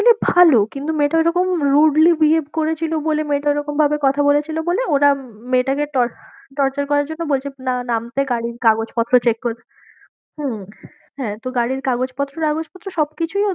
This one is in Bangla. কিন্তু ভালো কিন্তু মেয়েটা ঐরকম rudely behave করেছিল বলে মেয়েটা ওইরকমভাবে কথা বলেছিলো বলে ওরা মেয়েটাকে torture করার জন্য বলছে না নামতে গাড়ির কাগজপত্র check হম হ্যাঁ, তো গাড়ির কাগজপত্র টাগজপত্র সবকিছুই নাকি